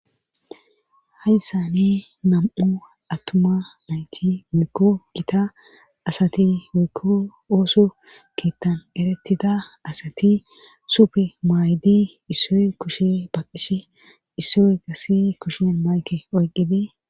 Hayssane nam'u attuma nayti mikko gita asati wikko ooso keettan erettida asati supe maayddi issoy kushe baqish issoy gassi kushen mayke oyqqidee.